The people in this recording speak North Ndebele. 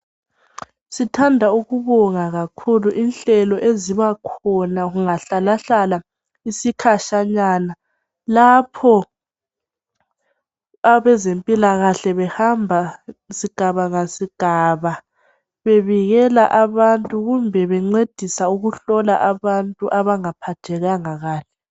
Sithanda ukubonga kakhulu inhlelo ezibakhona kungahlala hlala isikhatshanyana lapho abezempilakahle behamba sigaba ngasigaba bebikela abantu kumbe bencedisa ukuhlola abantu abangaphathekanga kahle.